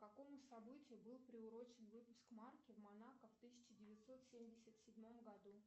к какому событию был приурочен выпуск марки в монако в тысяча девятьсот семьдесят седьмом году